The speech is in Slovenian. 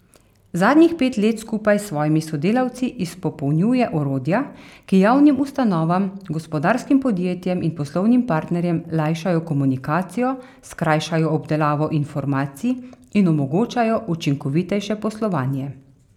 Zadnjih pet let skupaj s svojimi sodelavci izpopolnjuje orodja, ki javnim ustanovam, gospodarskim podjetjem in poslovnim partnerjem lajšajo komunikacijo, skrajšajo obdelavo informacij in omogočajo učinkovitejše poslovanje.